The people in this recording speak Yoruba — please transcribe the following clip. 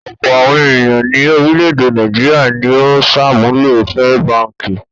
Ọ̀pọ̀ àwọn ènìyàn ní orílẹ̀-èdè Nàìjíríà ni ó ń ṣàmúlò First Báńkì.